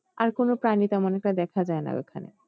আর কোনো প্রাণী তেমন একটা দেখা যায়না ওখানে